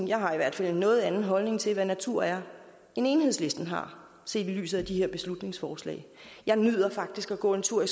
jeg har i hvert fald en noget anden holdning til hvad natur er end enhedslisten har set i lyset af de her beslutningsforslag jeg nyder faktisk at gå en tur